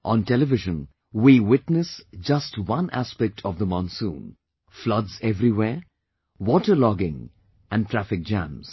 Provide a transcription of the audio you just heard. On television, we witness just one aspect of monsoon floods everywhere, water logging and traffic jam